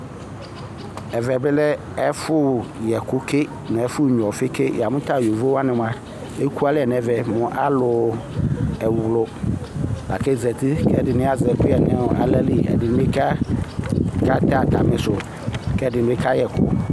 Ɛvɛ bɩ lɛ ɛƒʋyɛkʋ ke, nʋ ɛfʋnyʋa ɔfɩ ke Amu ta yovo wani mua, ekualɛ nʋ ɛvɛ mu alu ɛwlʋ, lakʋ azǝti Ɛdɩnɩ azɛ ɛkʋyɛ nʋ aɣla li, ɛdɩnɩ katɛ atamisu, kʋ ɛdɩnɩ kayɛ ɛkʋ